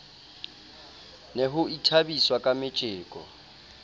ne ho ithabiswa ka metjeko